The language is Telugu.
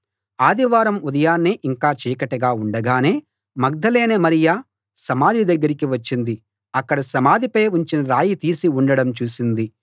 ఆదివారం ఉదయాన్నే ఇంకా చీకటిగా ఉండగానే మగ్దలేనే మరియ సమాధి దగ్గరికి వచ్చింది అక్కడ సమాధిపై ఉంచిన రాయి తీసి ఉండడం చూసింది